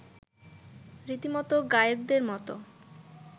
রীতিমতো গায়কদের মতো